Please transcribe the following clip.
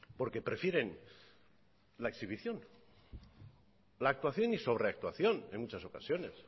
porque prefieren la exhibición la actuación y sobreactuación en muchas ocasiones